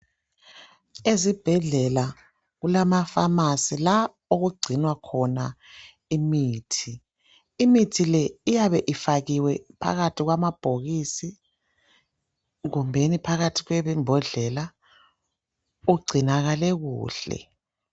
Ezibhedlela kulama pharmacy la okugcinwa khona imithi , imithi le iyabe ifakiwe phakathi kwama bhokisi kumbeni phakathi kwembodlela ugcinakale kuhle.